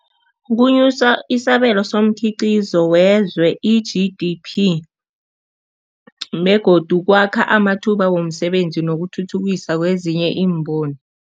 Kunyusa isabelo somkhiqizo wezwe i-G_D_P begodu kwakha amathuba womsebenzi nokuthuthukisa kwezinye iimboni.